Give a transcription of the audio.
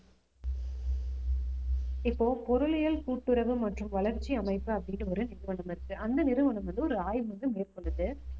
இப்போ பொருளியல் கூட்டுறவு மற்றும் வளர்ச்சி அமைப்பு அப்படின்னு ஒரு நிறுவனம் இருக்கு அந்த நிறுவனம் வந்து ஒரு ஆய்வு வந்து மேற்கொண்டது